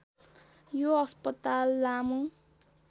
यो अस्पताल लामो